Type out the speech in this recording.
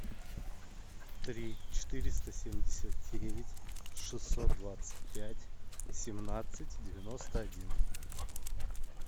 три четыреста семьдесят девять шестьсот двадцать пять семнадцать девяносто один